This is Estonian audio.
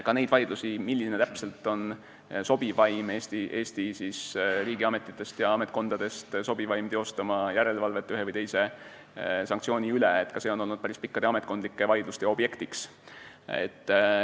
Ka see, milline Eesti riigi ametkondadest on sobivaim teostama järelevalvet ühe või teise sanktsiooni täitmise üle, on olnud päris pikkade ametkondlike vaidluste objekt.